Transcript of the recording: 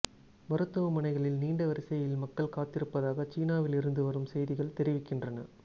மருத்துவமனைகளில் நீண்ட வரிசையில் மக்கள் காத்திருப்பதாக சீனாவிலிருந்து வரும் செய்திகள் தெரிவிக்கின்றன